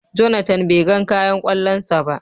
"Jonathan " be gan kayan kwallon sa ba.